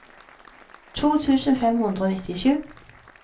to tusen fem hundre og nittisju